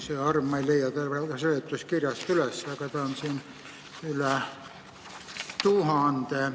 See arv – ma ei leia seda seletuskirjast praegu üles – on üle tuhande.